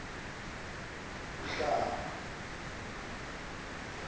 uhlaba